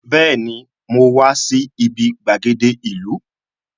Bẹẹni, mo wá sí ibi gbàgede ìlú